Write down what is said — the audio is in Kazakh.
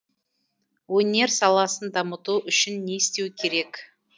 өнер саласын дамыту үшін не істеу керек